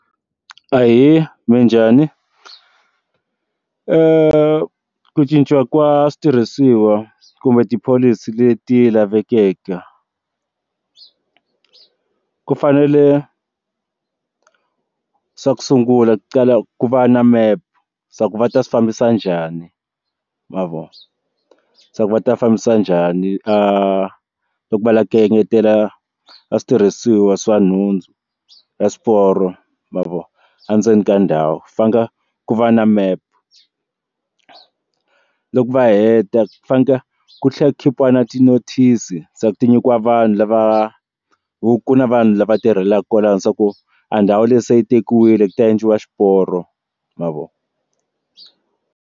Ahee, minjhani? ku cinciwa ka switirhisiwa kumbe tipholisi leti lavekeke ku fanele swa ku sungula ka ku va na mepe swa ku va ta swi fambisa njhani ma vona swa ku va ta fambisa njhani a loko va lava ku engetela a switirhisiwa swa nhundzu ya swiporo ma vona endzeni ka ndhawu fanela ku va na mepe loko va heta va fane ku tlhela khipiwa na ti notice ti nyikiwa vanhu lava hi ku na vanhu lava tirhelaka kwalano swa ku a ndhawu leyi se yi tekiwile ku ta endliwa xiporo ma vona.